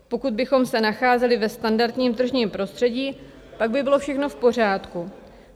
Pokud bychom se nacházeli ve standardním tržním prostředí, pak by bylo všechno v pořádku.